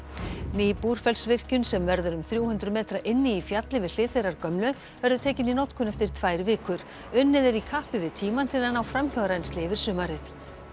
ný Búrfellsvirkjun sem verður um þrjú hundruð metra inni í fjalli við hlið þeirrar gömlu verður tekin í notkun eftir tvær vikur unnið er í kappi við tímann til að ná framhjárennsli yfir sumarið